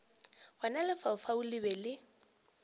gona lefaufau le be le